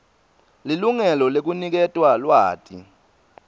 lilungelo lekuniketwa lwati